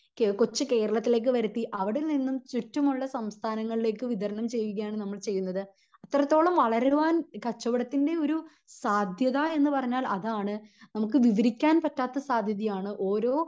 നമ്മുടെ കൊച്ച് കേരളത്തിലേക്ക് വരുത്തി അവിടെ നിന്നും ചുറ്റുമുള്ള സംസ്ഥാനങ്ങളിലേക് വിതരണം ചെയ്യുകയാണ് നമ്മൾ ചെയ്യുന്നത് അത്രത്തോളം വളരുവാൻ കച്ചവടത്തിൻ്റെ ഒരു സാധ്യത എന്ന് പറഞ്ഞാൽ അതാണ് നമുക്ക് വിവരിക്കാൻ പറ്റാത്ത സാധ്യത ആണ് ഓരോ